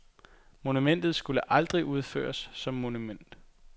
Monumentet skulle aldrig fuldføres som monument.